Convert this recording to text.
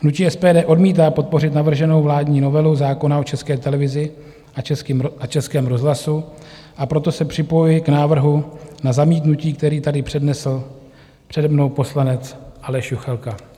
Hnutí SPD odmítá podpořit navrženou vládní novelu zákona o České televizi a Českém rozhlasu, a proto se připojuji k návrhu na zamítnutí, který tady přednesl přede mnou poslanec Aleš Juchelka.